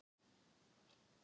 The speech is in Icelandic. Hafnarbakka